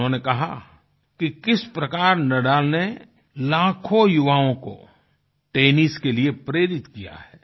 उन्होंने कहा कि किस प्रकार नादल ने लाखों युवाओं को टेनिस के लिए प्रेरित किया है